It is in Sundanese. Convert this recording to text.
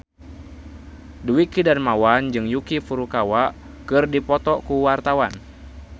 Dwiki Darmawan jeung Yuki Furukawa keur dipoto ku wartawan